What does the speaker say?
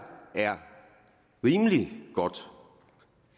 er rimelig godt